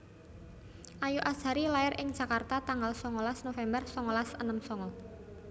Ayu Azhari lair ing Jakarta tanggal songolas November songolas enem songo